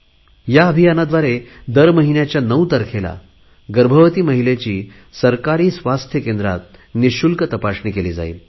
ह्या अभियानाद्वारे दर महिन्याच्या नऊ तारखेला गर्भवती महिलेची सरकारी आरोग्य केंद्रात निशुल्क तपासणी केली जाईल